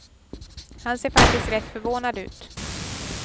Han ser faktiskt rätt förvånad ut.